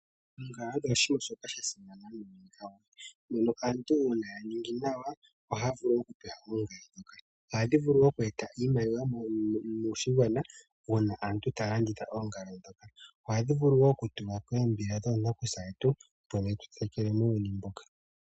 Oongala odho oshinima shoka sha simana muuyuni awuhe, mono aantu uuna ya ninga nawa, ohaya vulu oku pewa oongala ndhoka. Ohadhi vulu woo oku eta iimaliwa moshigwana, uuna aantu taya landitha oongala ndhoka. Ohadhi vulu woo oku tulwa koombila dhonakusa yetu, mbono yetu tetekele muuyuni mbuka.